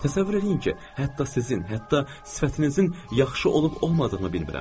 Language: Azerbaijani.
Təsəvvür eləyin ki, hətta sizin, hətta sifətinizin yaxşı olub-olmadığını bilmirəm.